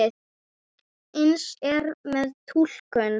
Eins er með túlkun.